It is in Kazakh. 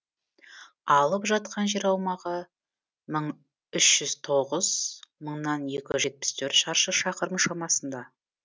алып жатқан жер аумағы мың үш жүз тоғыз мыңнан екі жүз жетпіс төрт шаршы шақырым шамасында